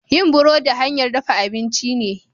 yin burodi hanyar dafa abinci ce